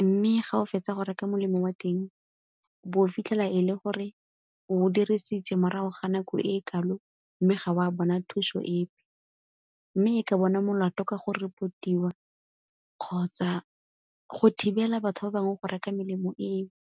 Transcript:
Mme ga o fetsa go reka molemo wa teng, o bo o fitlhela e le gore o o dirisitse morago ga nako e e kalo mme ga wa bona thuso epe, mme e ka bona molato ka go report-iwa kgotsa go thibela batho ba bangwe go reka melemo eo.